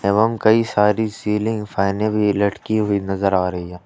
एवम कई सारी सीलिंग फैने में भी लटकी हुई नजर आ रही है।